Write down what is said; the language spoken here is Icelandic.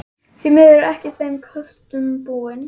Því miður er ég ekki þeim kostum búin.